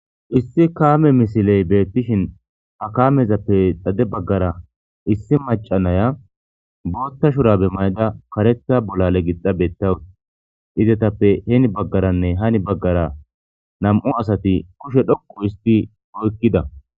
Issi kaame misiley beettishin ha kaamezappe xade baggara issi macanaya bootta shurabe mayda kareta bolale gixxabeta idetappe heeni baggaranne hani baggara nam'u asati kushe dhoqu isti oykkida.